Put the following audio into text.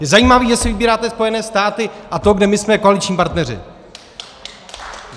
Je zajímavé, že si vybíráte Spojené státy a to, kde my jsme koaliční partneři.